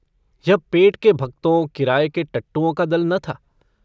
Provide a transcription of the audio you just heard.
यह पेट के भक्तों किराये के टट्टुओं का दल न था।